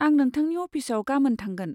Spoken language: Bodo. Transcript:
आं नोंथांनि अफिसाव गामोन थांगोन।